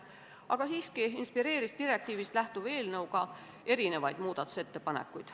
Aga sellest hoolimata inspireeris direktiivist lähtuv eelnõu ka mitmesuguseid muudatusettepanekuid.